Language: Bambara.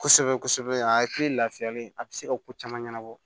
Kosɛbɛ kosɛbɛ a hakili lafiyalen a bɛ se ka ko caman ɲɛnabɔ